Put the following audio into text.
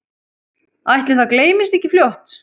Ætli það gleymist ekki fljótt